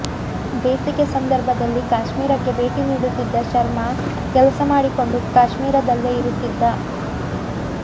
ಬೇಸಿಗೆ ಸಂದರ್ಭದಲ್ಲಿ ಕಾಶ್ಮೀರಕ್ಕೆ ಭೇಟಿ ನೀಡುತ್ತಿದ್ದ ಶರ್ಮಾ ಕೆಲಸ ಮಾಡಿಕೊಂಡು ಕಾಶ್ಮೀರದಲ್ಲೇ ಇರುತ್ತಿದ್ದ